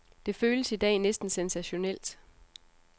Det føles i dag næsten sensationelt.